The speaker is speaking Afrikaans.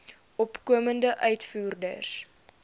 opkomende uitvoerders